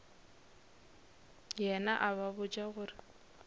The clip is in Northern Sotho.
yena a ba botša gore